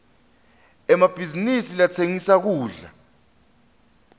emabhizinisi latsengisa kudla